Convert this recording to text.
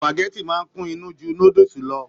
Supágẹ̀tì máa n kún inú jù núdúsí lọ.